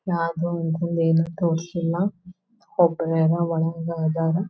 ಯಾವ್ಡೋವೊಂದು ತೋರ್ಸಿಲ್ಲ ಒಬ್ಬರ ಯಾರೋ ಒಳಗ್ ಅದಾರ.